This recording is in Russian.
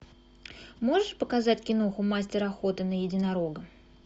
можешь показать киноху мастер охоты на единорога